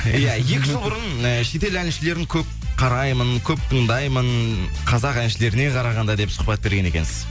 иә екі жыл бұрын ы шет ел әншілерін көп қараймын көп тыңдаймын қазақ әншілеріне қарағанда деп сұхбат берген екенсіз